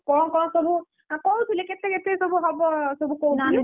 କଣ କଣ ସବୁ! କହୁନଥିଲି କେତେ କେତେ ସବୁ ହବ କହୁଥିଲେ,